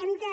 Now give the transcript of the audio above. hem de